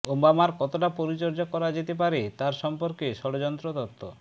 ওবামার কতটা পরিচর্যা করা যেতে পারে তার সম্পর্কে ষড়যন্ত্র তত্ত্ব